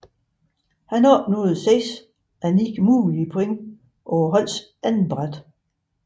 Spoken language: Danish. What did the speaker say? Han opnåede 6 af 9 mulige point på holdets andetbræt